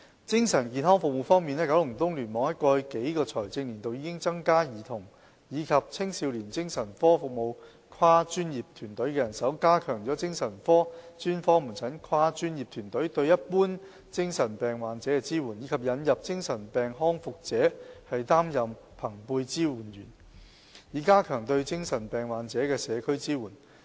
在精神健康服務方面，九龍東聯網在過去數個財政年度已增加兒童及青少年精神科服務跨專業團隊的人手，加強精神科專科門診跨專業團隊對一般精神病患者的支援，以及引入由精神病康復者擔任朋輩支援者的先導計劃，以加強對精神病患者的社區支援。